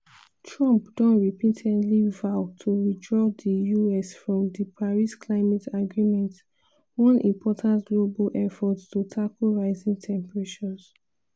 trump don repeatedly vow to withdraw di us from di paris climate agreement one important global effort to tackle rising temperatures.